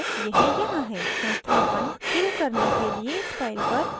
संस्थापन शुरू करने के लिए इस file पर double click करें